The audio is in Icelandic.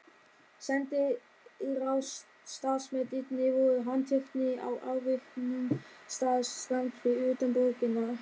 Sendiráðsstarfsmennirnir voru handteknir á afviknum stað skammt fyrir utan borgina.